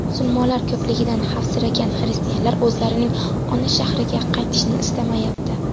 Musulmonlar ko‘pligidan xavfsiragan xristianlar o‘zlarining ona shahriga qaytishni istamayapti.